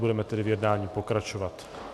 Budeme tedy v jednání pokračovat.